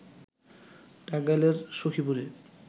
টাঙ্গাইলের সখীপুরে